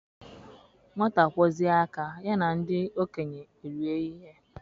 Nwata kwọzie aka, ya na ndị okenye erie ihe